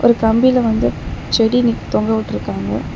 ஒரு கம்பில வந்து செடி நிக் தொங்கவிட்ருக்காங்க.